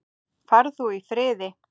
Far þú í friði.